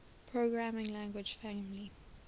programming language family